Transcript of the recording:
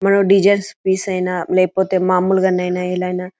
designs piece ఐనా లేకపోతే మామూలు లైనా --